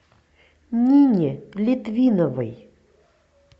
нине литвиновой